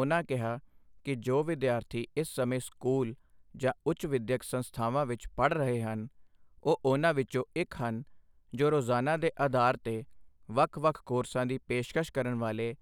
ਉਨ੍ਹਾਂ ਕਿਹਾ ਕਿ ਜੋ ਵਿਦਿਆਰਥੀ ਇਸ ਸਮੇਂ ਸਕੂਲ ਜਾਂ ਉੱਚ ਵਿੱਦਿਆਕ ਸੰਸਥਾਵਾਂ ਵਿੱਚ ਪੜ੍ਹ ਰਹੇ ਹਨ, ਉਹ ਉੁਨ੍ਹਾਂ ਵਿੱਚੋਂ ਇੱਕ ਹਨ ਜੋ ਰੋਜ਼ਾਨਾ ਦੇ ਅਧਾਰ ਤੇ ਵੱਖ ਵੱਖ ਕੋਰਸਾਂ ਦੀ ਪੇਸ਼ਕਸ਼ ਕਰਨ ਵਾਲੇ